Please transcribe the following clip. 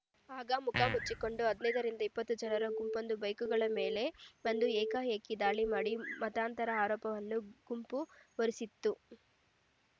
ಆಗ ಮುಖ ಮುಚ್ಚಿಕೊಂಡಿದ್ದ ಹದಿನೈದರಿಂದ ಇಪ್ಪತ್ತು ಜನರ ಗುಂಪೊಂದು ಬೈಕ್‌ಗಳ ಮೇಲೆ ಬಂದು ಏಕಾಏಕಿ ದಾಳಿ ಮಾಡಿ ಮತಾಂತರ ಆರೋಪವನ್ನು ಗುಂಪು ಹೊರಿಸಿತ್ತು